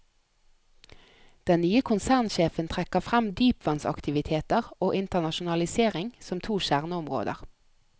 Den nye konsernsjefen trekker frem dypvannsaktiviteter og internasjonalisering som to kjerneområder.